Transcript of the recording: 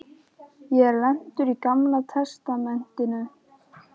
Ég er lentur í Gamla testamentinu.